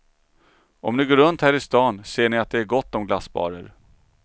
Om ni går runt här i stan ser ni att det är gott om glassbarer.